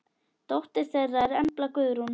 Dóttir þeirra er Embla Guðrún.